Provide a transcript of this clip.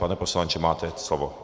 Pane poslanče, máte slovo.